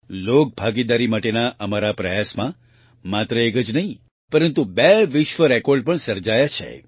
લોકભાગીદારી માટેના અમારા આ પ્રયાસમાં માત્ર એક જ નહીં પરંતુ બે વિશ્વ રેકોર્ડrecordપણ સર્જાયા છે